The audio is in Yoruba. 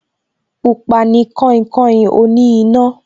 Pupa ni kainkain oní iná